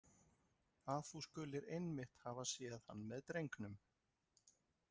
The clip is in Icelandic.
Að þú skulir einmitt hafa séð hann með drengnum.